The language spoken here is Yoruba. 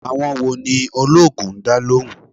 Àwọn wo ni oloogun ń dá lóhùn?